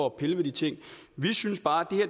at pille ved de ting vi synes bare at